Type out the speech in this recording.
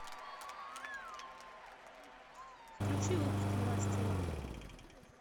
включи выпуск новостей